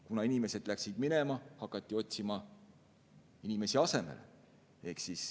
Kuna inimesed läksid minema, hakati otsima inimesi asemele.